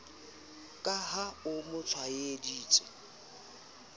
ka ha a mo tlwaeditse